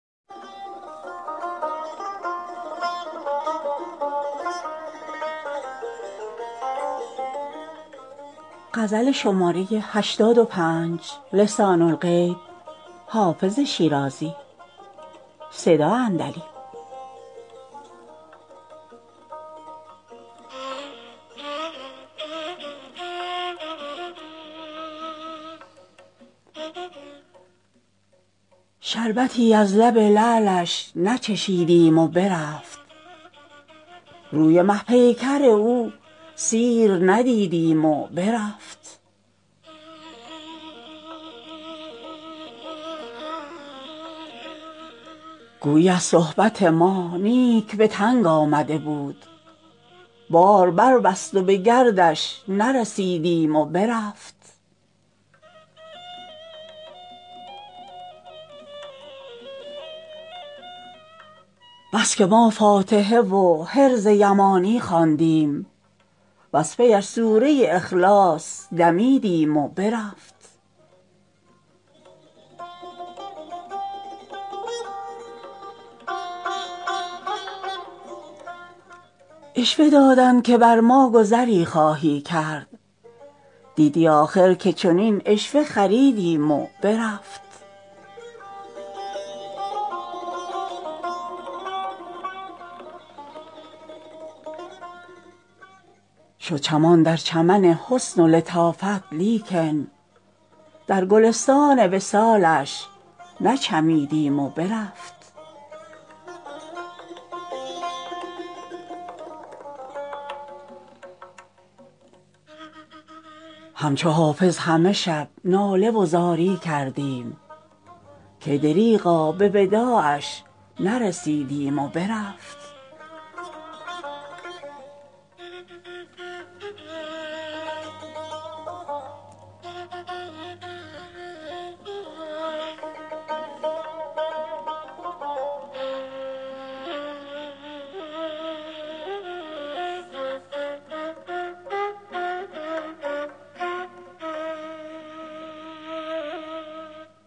شربتی از لب لعلش نچشیدیم و برفت روی مه پیکر او سیر ندیدیم و برفت گویی از صحبت ما نیک به تنگ آمده بود بار بربست و به گردش نرسیدیم و برفت بس که ما فاتحه و حرز یمانی خواندیم وز پی اش سوره اخلاص دمیدیم و برفت عشوه دادند که بر ما گذری خواهی کرد دیدی آخر که چنین عشوه خریدیم و برفت شد چمان در چمن حسن و لطافت لیکن در گلستان وصالش نچمیدیم و برفت همچو حافظ همه شب ناله و زاری کردیم کای دریغا به وداعش نرسیدیم و برفت